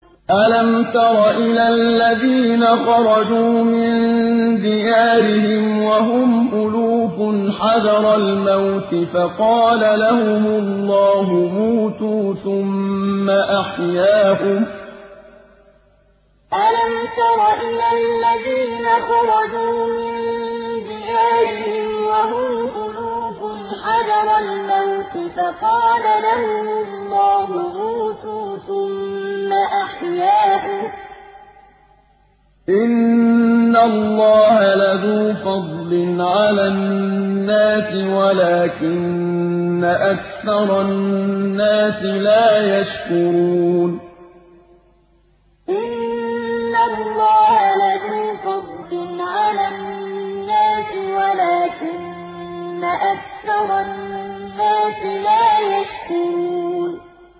۞ أَلَمْ تَرَ إِلَى الَّذِينَ خَرَجُوا مِن دِيَارِهِمْ وَهُمْ أُلُوفٌ حَذَرَ الْمَوْتِ فَقَالَ لَهُمُ اللَّهُ مُوتُوا ثُمَّ أَحْيَاهُمْ ۚ إِنَّ اللَّهَ لَذُو فَضْلٍ عَلَى النَّاسِ وَلَٰكِنَّ أَكْثَرَ النَّاسِ لَا يَشْكُرُونَ ۞ أَلَمْ تَرَ إِلَى الَّذِينَ خَرَجُوا مِن دِيَارِهِمْ وَهُمْ أُلُوفٌ حَذَرَ الْمَوْتِ فَقَالَ لَهُمُ اللَّهُ مُوتُوا ثُمَّ أَحْيَاهُمْ ۚ إِنَّ اللَّهَ لَذُو فَضْلٍ عَلَى النَّاسِ وَلَٰكِنَّ أَكْثَرَ النَّاسِ لَا يَشْكُرُونَ